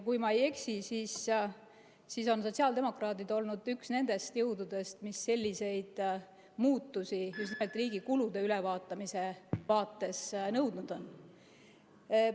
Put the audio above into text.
Kui ma ei eksi, siis on sotsiaaldemokraadid olnud üks nendest jõududest, mis selliseid muutusi just nimelt riigi kulude ülevaatamise vaates nõudnud on.